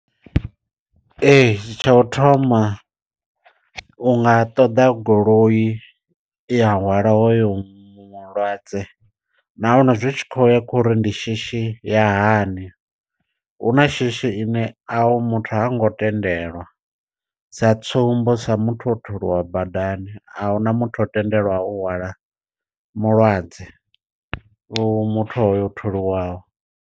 Ee tsha u thoma u nga ṱoḓa goloi i a hwala hoyo mulwadze nahone zwi tshi khou ya khori ndi shishi ya hani. Huna shishi ine a u muthu ha ngo tendelwa sa tsumbo, sa muthu o thuliwa badani a huna muthu o tendelwaho u hwala mulwadze muthu hoyo o thuliwaho.